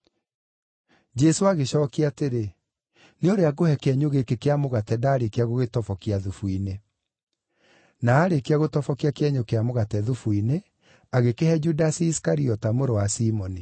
Jesũ agĩcookia atĩrĩ, “Nĩ ũrĩa ngũhe kĩenyũ gĩkĩ kĩa mũgate ndaarĩkia gũgĩtobokia thubu-inĩ.” Na aarĩkia gũtobokia kĩenyũ kĩa mũgate thubu-inĩ, agĩkĩhe Judasi Isikariota mũrũ wa Simoni.